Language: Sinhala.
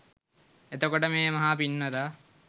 එතකොට මේ මහා පින්වතා